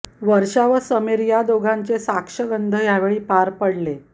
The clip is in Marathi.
वर्षा व समीर या दोघांचे साक्षगंध यावेळी पार पडले